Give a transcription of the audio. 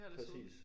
Præcis